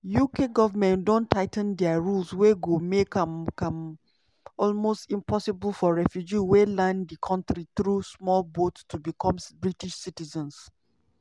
uk goment don tigh ten dia rules wey go make am am almost impossible for refugees wey land di kontri through small boat to become british citizens.